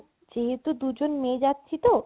যেহেতু দু জন মেয়ে যাচ্ছি তো